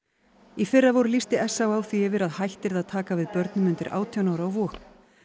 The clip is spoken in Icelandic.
í fyrravor lýsti s á á því yfir að hætt yrði að taka við börnum undir átján ára á Vog